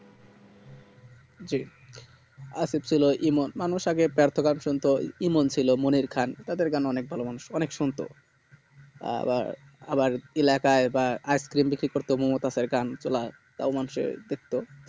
জি আসিফ ছিলো ইমন মানুষ আগে শুনতো ইমন ছিলো মনির খান তাদের গান অনেক ভালো মানুষ অনেক শুনতো আবার আবার এলাকায় icecrem বিক্রি করতো মোমোতাস এর গান তাও মানুষ দেখতো